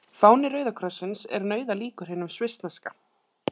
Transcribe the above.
Fáni Rauða krossins er nauðalíkur hinum svissneska.